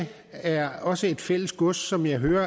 er også et fælles gods som jeg hører